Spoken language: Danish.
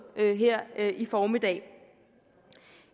her i formiddag